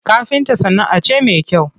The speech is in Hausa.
Kafinta sana'a ce me kyau.